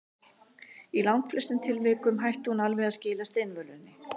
Í langflestum tilvikum hætti hún alveg að skila steinvölunni.